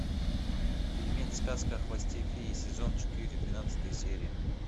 фильмец сказка о хвосте феи сезон четыре двенадцатая серия